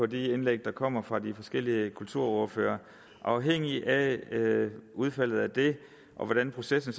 de indlæg der kommer fra de forskellige kulturordførere afhængigt af udfaldet af det og af hvordan processen